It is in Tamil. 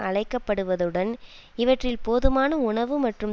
அழைக்கப்படுவதுடன் இவற்றில் போதுமான உணவு மற்றும்